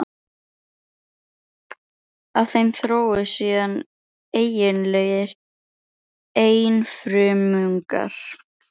Af þeim þróuðust síðan eiginlegir einfrumungar.